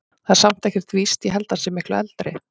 Það er samt ekkert víst. ég held að hann sé miklu eldri.